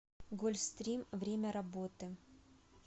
гольфстрим время работы